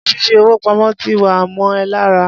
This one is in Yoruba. Ṣé fifi owó pamó ti wá mọ ẹ lára?